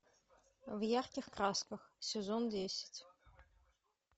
в ярких красках сезон десять